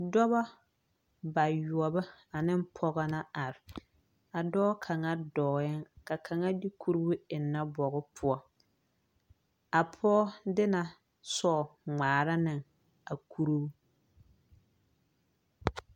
Dɔba bayɔɔbo ane pɔgɔ la are, a dɔɔ kaŋa dɔɛ la ka kaŋa de kuru eŋne bogi poɔ, a pɔge de la soɔɔ ŋmaara ne a kuru